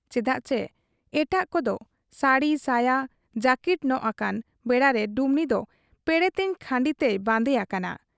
ᱪᱮᱫᱟᱜ ᱪᱤ ᱮᱴᱟᱜ ᱠᱚᱫᱚ ᱥᱟᱹᱲᱤ ᱥᱟᱭᱟ ᱡᱟᱹᱠᱤᱴ ᱧᱚᱜ ᱟᱠᱟᱱ ᱵᱮᱲᱟᱨᱮ ᱰᱩᱢᱱᱤ ᱫᱚ ᱯᱮᱬᱮᱛᱮᱧ ᱠᱷᱟᱸᱰᱤ ᱛᱮᱭ ᱵᱟᱱᱫᱮ ᱟᱠᱟᱱᱟ ᱾